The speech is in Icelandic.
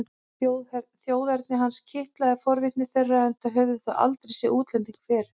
Þjóðerni hans kitlaði forvitni þeirra enda höfðu þau aldrei séð útlending fyrr.